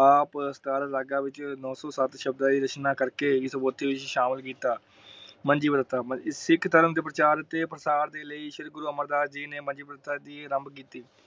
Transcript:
ਆਪ ਸਥਾਰ ਲਗਾ ਵਿਚ ਨੋ ਸੋ ਸ਼ਬਦ ਸ਼ਬਦਾਂ ਦੀ ਰਚਨਾ ਕਰਕੇ । ਉਨੀਂ ਸੋ ਬੱਤੀ ਵਿੱਚ ਸ਼ਾਮਲ ਕੀਤਾ । ਮੰਜੀ ਪ੍ਰਥਾ ਸਿੱਖ ਧਰਮ ਦੇਵ ਪ੍ਰਚਾਰ ਤੇ ਪ੍ਰਸਾਰ ਦੇ ਲਾਇ ਸ਼੍ਰੀ ਗੁਰੂ ਅਮਰ ਦਾਸ ਜੀ ਨੇ ਮੰਜੀ ਪ੍ਰਥਾ ਦੀ ਅਰੰਭ ਕੀਤੀ ।